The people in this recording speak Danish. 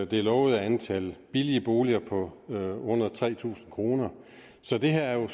det lovede antal billige boliger på under tre tusind kr så det her er